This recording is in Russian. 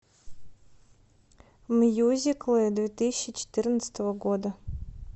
мюзиклы две тысячи четырнадцатого года